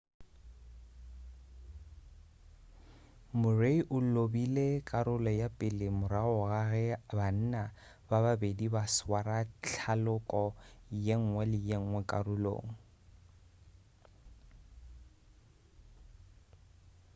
murray o lobile karolo ya pele morago ga ge banna ba babedi ba swara thaloko yenngwe le yenngwe karolong